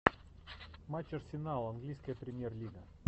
матч арсенал английская премьер лига